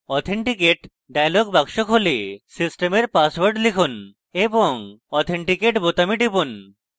authenticate dialog box দেখায় সিস্টেমের password লিখুন এবং authenticate বোতামে টিপুন